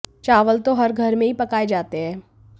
चावल तो हर घर में ही पकाए जाते हैं